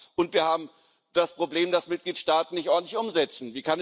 Und wir haben das Problem, dass Mitgliedstaaten nicht ordentlich umsetzen.